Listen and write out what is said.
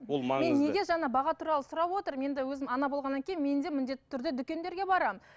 ол маңызды неге жаңа баға туралы сұрап отырмын енді өзім ана болғаннан кейін мен де міндетті түрде дүкендерге барамын